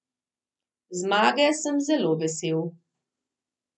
Zmage sem zelo vesel.